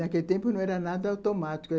Naquele tempo, não era nada automático.